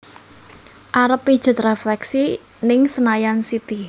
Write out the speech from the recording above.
Arep pijet refleksi ning Senayan City